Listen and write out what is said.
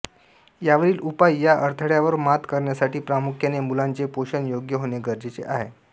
यावरील उपाय या अडथळ्यांवर मात करण्यासाठी प्रामुख्याने मुलांचे पोषण योग्य होणे गर्जेचे आहे